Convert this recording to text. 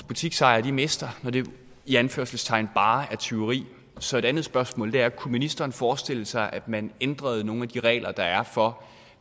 butiksejere mister når det i anførselstegn bare er tyveri så et andet spørgsmål er kunne ministeren forestille sig at man ændrede nogle af de regler der er for